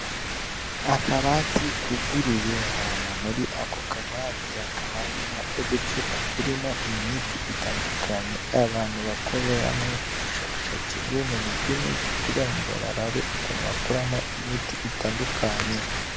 Akabati kuguruye hama muri ako kabati yakabarimo uducupa turimo imiti itandukanye abantu bakoreramwo ubushakashatsi bw'ubumenye bw'imiti, kubera ngo barabe ukuntu bakuramo imiti itandukanye.